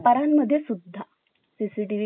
CCTV camera असणे गरजेचे आहे